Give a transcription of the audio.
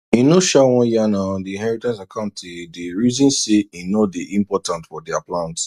e no sha wan yan her on d inheritance accounti dey reason say e know d important for their plans